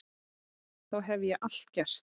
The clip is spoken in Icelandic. Það hef ég alltaf gert